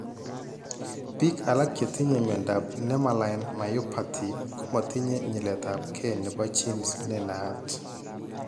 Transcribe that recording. Biik alak chetinye miondop nemaline myopathy komatinye nyiletabge nebo genes nenaat